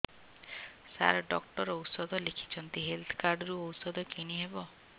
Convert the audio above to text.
ସାର doctor ଔଷଧ ଲେଖିଛନ୍ତି health card ରୁ ଔଷଧ କିଣି ହେବ